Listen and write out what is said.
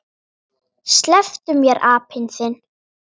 SLEPPTU MÉR, APINN ÞINN!